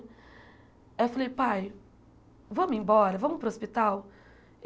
Aí eu falei, pai, vamos embora, vamos para o hospital?